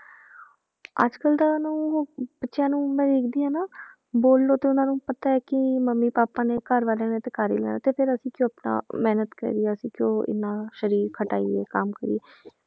ਅੱਜ ਕੱਲ੍ਹ ਤਾਂ ਨੂੰ ਬੱਚਿਆਂ ਨੂੰ ਮੈਂ ਦੇਖਦੀ ਹਾਂ ਨਾ ਬੋਲੋ ਤੇ ਉਹਨਾਂ ਨੂੰ ਪਤਾ ਹੈ ਕਿ ਮੰਮੀ ਪਾਪਾ ਨੇ ਘਰਵਾਲਿਆਂ ਨੇ ਤੇ ਕਰ ਹੀ ਲੈਣਾ ਤੇ ਫਿਰ ਅਸੀਂ ਕਿਉਂ ਆਪਣਾ ਮਿਹਨਤ ਕਰੀਏ ਅਸੀਂ ਕਿਉਂ ਇੰਨਾ ਸਰੀਰ ਖਟਾਈਏ ਕੰਮ ਕਰੀਏ